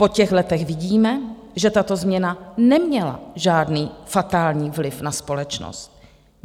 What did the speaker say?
Po těch letech vidíme, že tato změna neměla žádný fatální vliv na společnost.